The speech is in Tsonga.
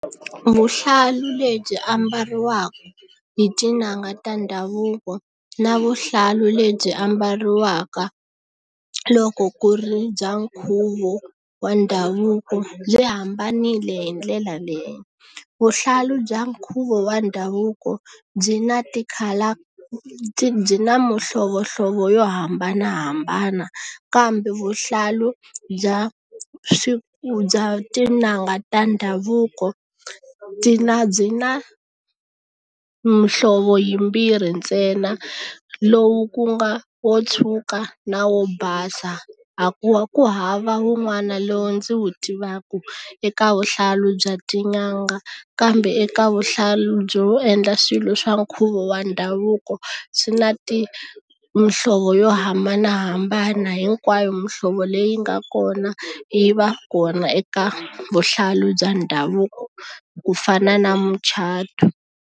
Vuhlalu lebyi ambariwaka hi tin'anga ta ndhavuko na vuhlalu lebyi ambariwaka loko ku ri bya nkhuvo wa ndhavuko byi hambanile hi ndlela leyo vuhlalu bya nkhuvo wa ndhavuko byi na tikhala byi na mihlovohlovo yo hambanahambana kambe vuhlalu bya bya tin'anga ta ndhavuko byi na byi na muhlovo yimbirhi ntsena lowu ku nga wo tshuka na wo basa a ku wa ku hava wun'wana lowu ndzi wu tivaka eka vuhlalu bya tin'anga kambe eka vuhlalu byo endla swilo swa nkhuvo wa ndhavuko swi na ti muhlovo yo hambanahambana hinkwayo muhlovo leyi nga kona yi va kona eka vuhlalu bya ndhavuko ku fana na mucato.